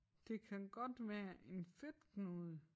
Det kan godt være en fedtknude